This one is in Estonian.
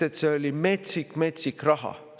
Sest see oli metsik-metsik raha.